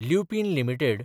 Lupin limited